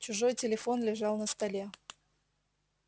чужой телефон лежал на столе